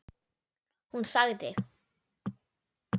Hún sagði: